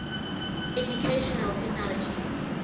educational technology